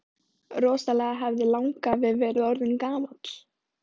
Rosalega hefði langafi verið orðinn gamall!